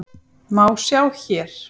má sjá hér.